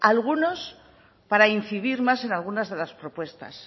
algunos para incidir más en algunas de las propuestas